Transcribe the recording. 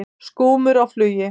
Skúmur á flugi.